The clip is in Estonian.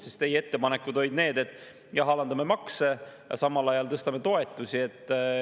Sest teie ettepanekud olid need, et jah, alandame makse, aga samal ajal tõstame toetusi.